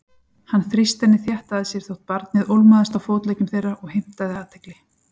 Hann þrýsti henni þétt að sér þótt barnið ólmaðist á fótleggjum þeirra og heimtaði athygli.